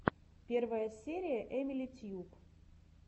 первая серия эмили тьюб